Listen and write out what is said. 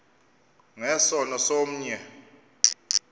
nge sono somnye